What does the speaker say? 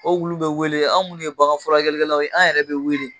O wulu bɛ wele an minnu ye baganfurakɛlaw ye an yɛrɛ bɛ wele.